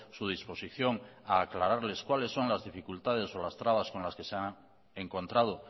su disposición a aclararles cuales son las dificultades o las trabas con las que se han encontrado